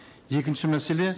екінші мәселе